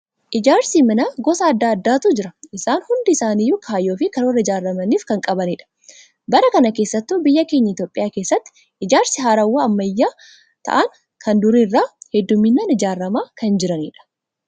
Ijaarsi manaa gosa addaa addaatu jira. Isaan hundi isaanii kaayyoo fi karoora ijaaramaniif kan qabanidha. Bara kana keessattuu biyya keenya Itoophiyaa keessatti ijaarsi haarawaa ammayyaawaa ta'an kan durii irra hedduminaan ijaaramaa kan jiranidha.